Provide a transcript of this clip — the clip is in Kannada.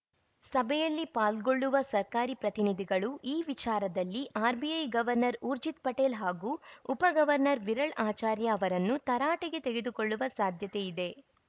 ಸಭೆಯಲ್ಲಿ ಪಾಲ್ಗೊಳ್ಳುವ ಸರ್ಕಾರಿ ಪ್ರತಿನಿಧಿಗಳು ಈ ವಿಚಾರದಲ್ಲಿ ಆರ್‌ಬಿಐ ಗವರ್ನರ್‌ ಊರ್ಜಿತ್‌ ಪಟೇಲ್‌ ಹಾಗೂ ಉಪ ಗವರ್ನರ್‌ ವಿರಳ್‌ ಆಚಾರ್ಯ ಅವರನ್ನು ತರಾಟೆಗೆ ತೆಗೆದುಕೊಳ್ಳುವ ಸಾಧ್ಯತೆ ಇದೆ